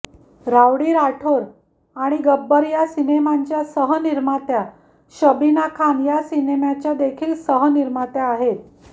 rowdy Rathore आणि गब्बर या सिनेमांच्या सहनिर्मात्या शबीना खान या सिनेमाच्या देखील सहनिर्मात्या आहेत